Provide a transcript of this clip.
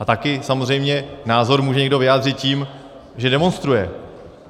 A taky samozřejmě názor může někdo vyjádřit tím, že demonstruje.